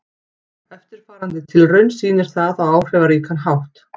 Eftirfarandi tilraun sýnir það á áhrifaríkan hátt.